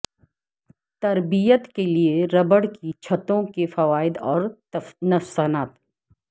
تربیت کے لئے ربڑ کی چھتوں کے فوائد اور نقصانات